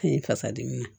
I fasadimi